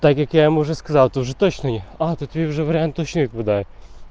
так как я ему уже сказал то же точный а этот уже вариант точно наблюдаю